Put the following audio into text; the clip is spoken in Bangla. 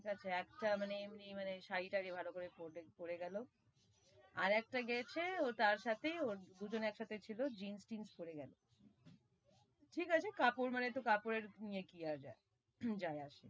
ঠিক আছে, একটা মানে মানে শাড়ি-তাড়ি ভালো করে পরে গেলো, আর একটা গেছে ও তার সাথেই ও দুজনে একসাথে ছিল জিন্স-টিন্স পরে গেছে, ঠিক আছে কাপড় মানে কাপড় এ কি আর যাই আসে,